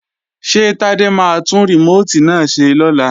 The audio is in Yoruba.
Ṣé Tádé máa tún rìmóòtì náà ṣe lọ́la?